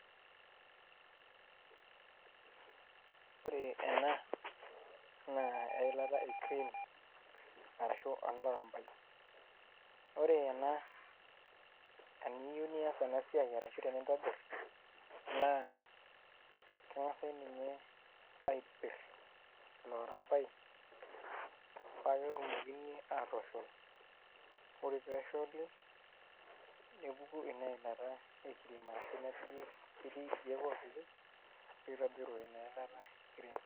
Ore ena naa eilata e cream arashu enolairambai ore ena eniyieu nias ena siai arashu tenintobirr naa keng'asai ninye aipirr ilo airambai paa ketumokini aatosho, ore pee esholi nepuku ina ilata ecraem ake ketii irkeek oopiki nitobiru ina ilata ecream.